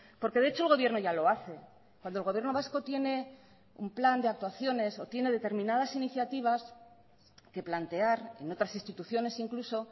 porque de hecho el gobierno ya lo hace cuando el gobierno vasco tiene un plan de actuaciones o tiene determinadas iniciativas que plantear en otras instituciones incluso